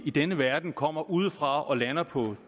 i denne verden kommer udefra og lander på